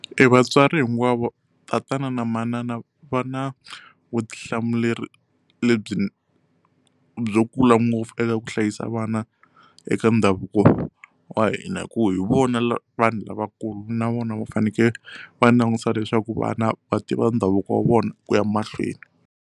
Evatswari hinkwavo tatana na manana va na vutihlamuleri lebyi byo kula ngopfu eka ku hlayisa vana eka ndhavuko wa hina hi ku hi vona vanhu lavakulu na vona va fanekele va langutisa leswaku vana va tiva ndhavuko wa vona ku ya mahlweni.